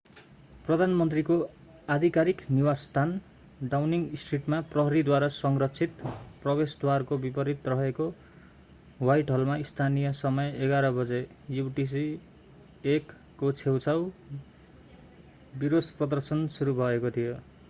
प्रधानमन्त्रीको आधिकारिक निवासस्थान डाउनिङ स्ट्रिटमा प्रहरीद्वारा संरक्षित प्रवेशद्वारको विपरीत रहेको ह्वाइटहलमा स्थानीय समय 11:00 बजे युटिसी+1 को छेउछाउ विरोश-प्रदर्शन सुरु भएको थियो।